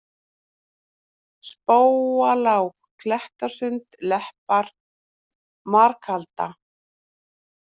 Spóalág, Klettasund, Leppar, Markalda